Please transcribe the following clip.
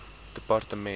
departement